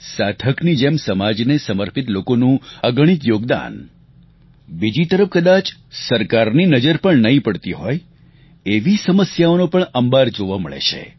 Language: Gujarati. સાધકની જેમ સમાજને સમર્પિત લોકોનું અગણિત યોગદાન બીજી તરફ કદાચ સરકારની નજર પણ નહીં પડતી હોય એવી સમસ્યાઓનો પણ અંબાર જોવા મળે છે